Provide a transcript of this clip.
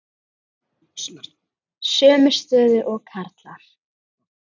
Sömu stöðu og karlar.